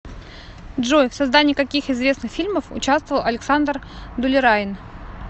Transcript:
джой в создании каких известных фильмов учавствовал александр дулераин